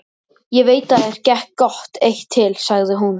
Ég veit að þér gekk gott eitt til, sagði hún.